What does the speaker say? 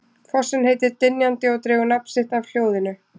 Fossinn heitir Dynjandi og dregur nafn af hljóði sínu.